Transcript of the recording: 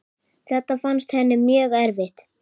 Þetta fannst henni mjög erfitt.